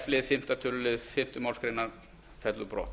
f fimmta tölulið fimmtu málsgrein fellur brott